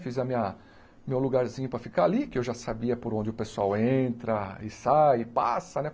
Fiz a minha... meu lugarzinho para ficar ali, que eu já sabia por onde o pessoal entra e sai, e passa, né?